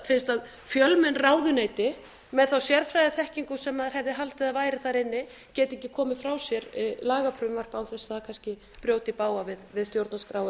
fyrst fjölmenn ráðuneyti með þá sérfræðiþekkingu sem maður hefði haldið að væri þar inni geta ekki komið frá sér lagafrumvarpi án þess að það kannski brjóti í bága við stjórnarskrá